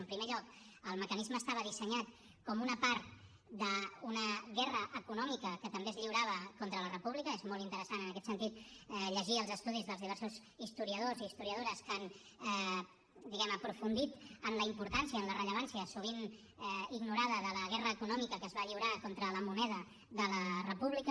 en primer lloc el mecanisme estava dissenyat com una part d’una guerra econòmica que també es lliurava contra la república és molt interessant en aquest sentit llegir els estudis dels diversos historiadors i historiadores que han diguem ne aprofundit en la importància en la rellevància sovint ignorada de la guerra econòmica que es va lliurar contra la moneda de la república